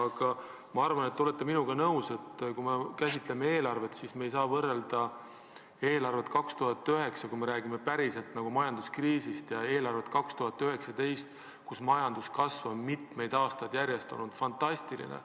Samas ma arvan, et te olete minuga nõus, et kui me käsitleme eelarvet, siis ei saa võrrelda eelarvet 2009, kui meid tabas majanduskriis, ja eelarvet 2019, kui majandus kasvab, kui mitu aastat järjest on olukord olnud fantastiline.